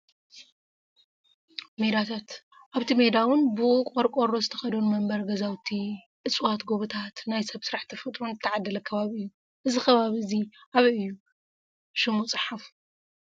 ሜዳታተ ኣብቲ ሜዳ እውን ብቆርቆሮ ዝተከደኑ መንበሪ ገዛውቲ ፣እፅዋት ጎቦታት ናይ ሰብ ሰራሕ ተፈጥሮን ዝተዓደለ ከባቢ እዩ። እዚ ከባቢ እዚ ኣብይ እዩ ? ሽሙ ፃሓፉ።